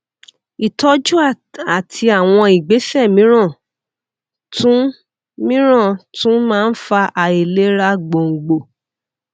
ìtọjú àti àwọn ìgbésè mìíràn tún mìíràn tún máa ń fa àìlera gbòǹgbò